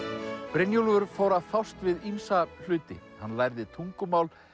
Brynjólfur fór að fást við ýmsa hluti hann lærði tungumál